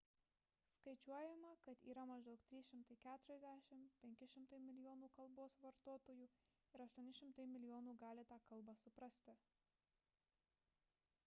skaičiuojama kad yra maždaug 340–500 milijonų kalbos vartotojų ir 800 milijonų gali tą kalbą suprasti